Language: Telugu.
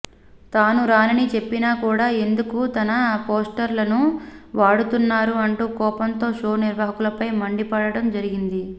తాను రానని చెప్పినా కూడా ఎందుకు తన పోస్టర్లను వాడుతున్నారు అంటూ కోపంతో షో నిర్వాహకులపై మండి పడటం జరిగింది